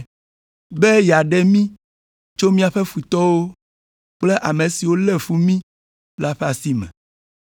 be yeaɖe mí tso míaƒe futɔwo kple ame siwo lé fu mí la ƒe asi me,